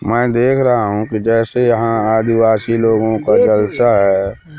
मैं देख रहा हूं कि जैसे यहां आदिवासी लोगों को जलसा है।